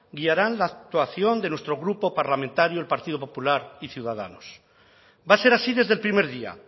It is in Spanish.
guiarán la actuación de nuestro grupo parlamentario el partido popular y ciudadanos va a ser así desde el primer día